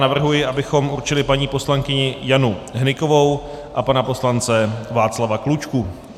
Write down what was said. Navrhuji, abychom určili paní poslankyni Janu Hnykovou a pana poslance Václava Klučku.